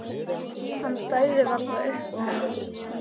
Hann stæði varla upp úr honum.